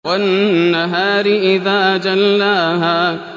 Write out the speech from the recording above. وَالنَّهَارِ إِذَا جَلَّاهَا